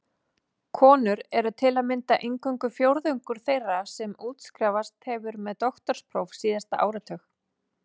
Konur eru til að mynda eingöngu fjórðungur þeirra sem útskrifast hefur með doktorspróf síðasta áratug.